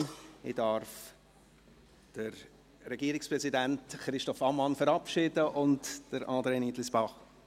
Ich darf Regierungspräsident Christoph Ammann und Generalsekretär André Nietlisbach verabschieden.